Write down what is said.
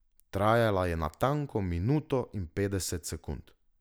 Trajala je natanko minuto in petdeset sekund.